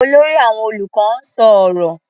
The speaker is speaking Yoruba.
Olórí àwọn olùkọ́ ń sọ ọ̀rọ̀.